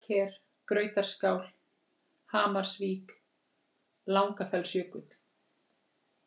Hagaker, Grautarskál, Hamarsvík, Langafellsjökull